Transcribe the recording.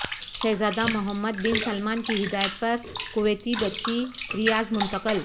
شہزادہ Muhammad bin Salman کی ہدایت پر کویتی بچی ریاض منتقل